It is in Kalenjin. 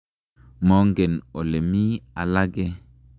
Mongen ole mii alake.